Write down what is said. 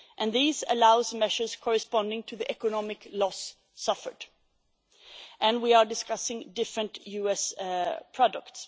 These allow for measures corresponding to the economic loss suffered, and we are discussing different US products.